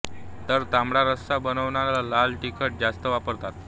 तर तांबडा रस्सा बनवताना लाल तिखट जास्त वापरतात